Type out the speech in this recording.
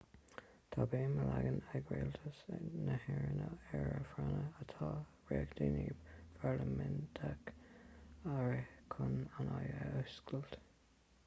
tá béim á leagan ag rialtas na héireann ar a phráinne atá sé reachtaíocht pharlaiminteach a rith chun an fhadhb a fhuascailt